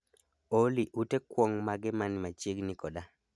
Olly ute kwong' mage mani machiegni koda?